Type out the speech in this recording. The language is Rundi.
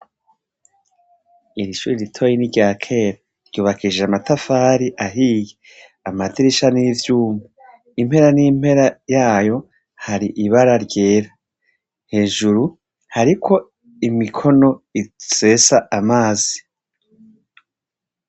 Irishure ritoyi n' iryakera ryubakishije amatafari ahiye amadirisha n' ivyuma impera n' impera yayo hari ibara ryera, hejuru hariko imikono isesa amazi.